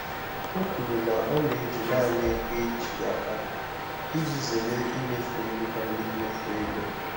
O kwuru na ọ na-eji naanị ego eji aka iji zere imefu ego karịrị mmefu ego.